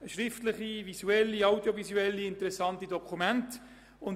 schriftliche, visuelle und audiovisuelle Dokumente, die sehr interessant sind.